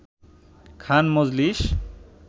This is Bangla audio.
খান মজলিস